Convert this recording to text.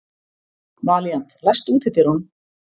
Valíant, læstu útidyrunum.